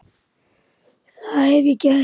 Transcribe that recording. Það hef ég gert.